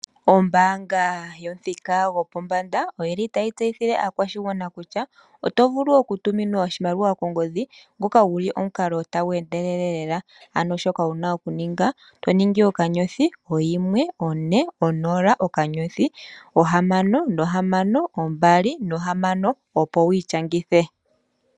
Ombanga yomuthika gopombanda oyili tayi tseyithile aakwashigwana kutya otovulu okutumina oshimaliwa kongodhi ngoka guli omukalo tagu endelele lela, ano shoka wuna okuninga toningi okanyothi, oyimwe ,one, onola, okanyothi, oohamano dhili mbali, ombali, ohamano nokahasha opo wityangithe.